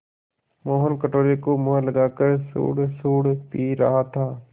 मोहन कटोरे को मुँह लगाकर सुड़सुड़ पी रहा था